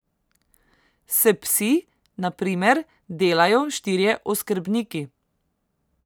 S psi, na primer, delajo štirje oskrbniki.